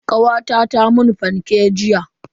Kawata ta mun fancake jiya.